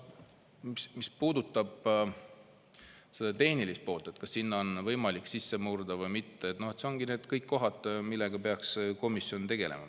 Mis puudutab tehnilist poolt, kas süsteemi on võimalik sisse murda või mitte – see ongi asi, millega peaks komisjon tegelema.